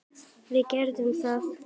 Við gerðum það.